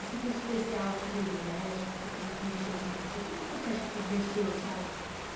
Esse curso especial que você fez no México, que você falou que mexeu com você, que que você acha que mexeu, sabe?